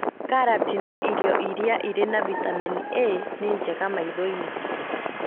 Karati na irio iria irĩ na vitamini A nĩ njega maitho-inĩ.